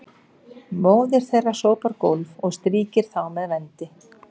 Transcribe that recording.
móðir þeirra sópar gólf og strýkir þá með vendi